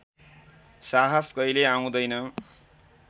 साहस कहिल्यै आउँदैन